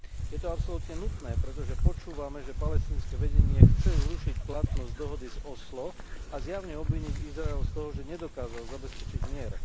Je to absolútne nutné, pretože počúvame, že palestínske vedenie chce zrušiť platnosť dohody z Osla a zjavne obviniť Izrael z toho, že nedokázal zabezpečiť mier.